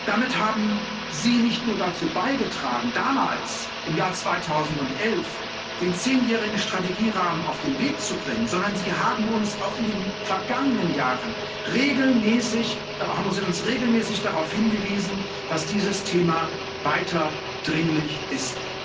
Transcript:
Damit haben Sie nicht nur dazu beigetragen, damals, im Jahr 2011, den zehnjährigen Strategierahmen auf den Weg zu bringen, sondern Sie haben uns auch in den vergangenen Jahren regelmäßig darauf hingewiesen, dass dieses Thema weiter dringlich ist.